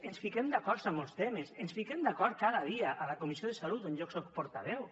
ens fiquem d’acord en molts temes ens fiquen d’acord cada dia a la comissió de salut on jo soc portaveu